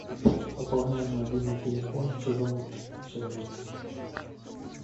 пополняй мобильный телефон чужому человеку